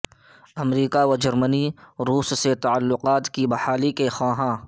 امریکہ و جرمنی روس سے تعلقات کی بحالی کے خواہاں